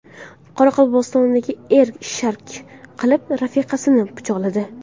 Qoraqalpog‘istonda er rashk qilib rafiqasini pichoqladi.